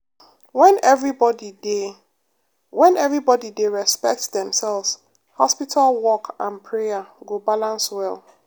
when everybody dey when everybody dey respect themselves hospital work and prayer go balance well.